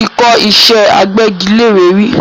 Mo ti kọ́ ìṣẹ́ agbẹ́gilére rí